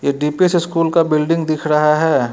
यह D P S school का building दिख रहा है।